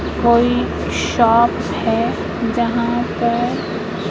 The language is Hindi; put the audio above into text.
कोई शॉप है जहां पर--